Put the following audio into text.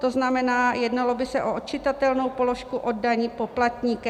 To znamená, jednalo by se o odčitatelnou položku od daní poplatníka.